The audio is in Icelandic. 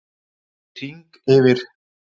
Hann fór í hring yfir